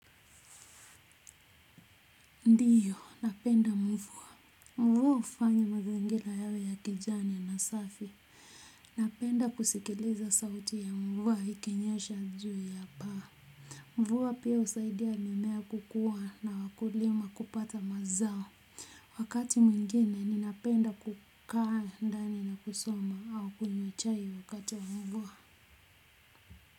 Ndiyo napenda mvua mvua hufanya mazingira yawe ya kijani na safi napenda kusikiliza sauti ya mvua ikinyesha juu ya paa mvua pia husaidia mimea kukua na wakulima kupata mazao wakati mwingine ninapenda kukaa ndani na kusoma au kunywa chai wakati wa mvua.